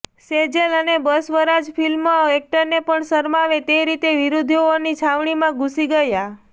સેજલ અને બસવરાજ ફિલ્મ એક્ટરને પણ શરમાવે તે રીતે વિરોધીઓની છાવણીમાં ઘૂસી ગયા